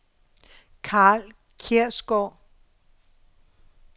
Karl Kjærsgaard